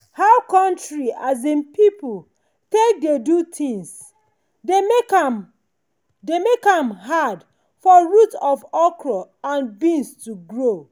how country um people take dey do things dey make am dey make am hard for root of okra and beans to grow.